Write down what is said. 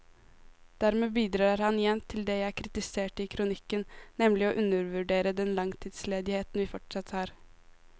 Dermed bidrar han igjen til det jeg kritiserte i kronikken, nemlig å undervurdere den langtidsledigheten vi fortsatt har.